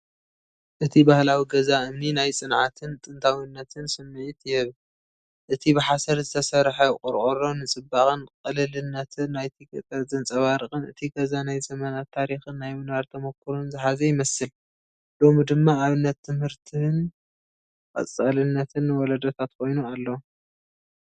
እቲ ባህላዊ ገዛ እምኒ ናይ ጽንዓትን ጥንታዊነትን ስምዒት ይህብ። እቲ ብሓሰር ዝተሰርሐቆርቆሮ ንጽባቐን ቅልልነትን ናይቲ ገጠር ዘንጸባርቕን እቲ ገዛ ናይ ዘመናት ታሪኽን ናይ ምንባር ተመኩሮን ዝሓዘ ይመስል፡ ሎሚ ድማ ኣብነት ትምህርትን ቀጻልነትን ንወለዶታት ኮይኑ ኣሎ።